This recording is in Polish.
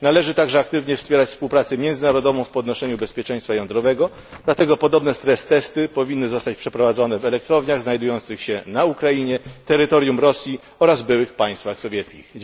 Należy także aktywnie wspierać współpracę międzynarodową w podnoszeniu bezpieczeństwa jądrowego, dlatego podobne stres testy powinny zostać przeprowadzone w elektrowniach znajdujących się na Ukrainie, terytorium Rosji oraz w byłych państwach sowieckich.